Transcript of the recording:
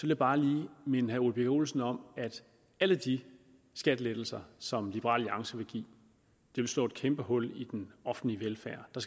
jeg bare lige minde herre ole birk olesen om at alle de skattelettelser som liberal alliance vil give vil slå et kæmpe hul i den offentlige velfærd der